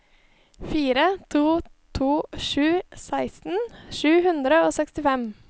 fire to to sju seksten sju hundre og sekstifem